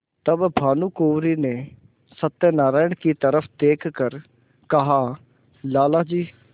तब भानुकुँवरि ने सत्यनारायण की तरफ देख कर कहालाला जी